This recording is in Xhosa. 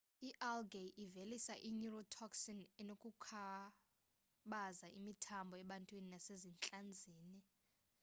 i-algae ivelisa i-neurotoxin enokukhubaza imithambo ebantwini nasezintlanzini